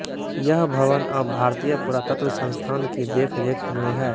यह भवन अब भारतीय पुरातत्व संस्थान की देख रेख में है